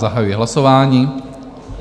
Zahajuji hlasování.